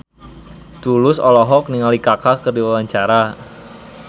Tulus olohok ningali Kaka keur diwawancara